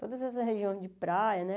Todas essas regiões de praia, né?